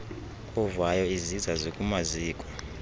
ovayo iziza zikumaziko